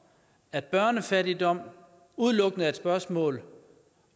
at børnefattigdom udelukkende er et spørgsmål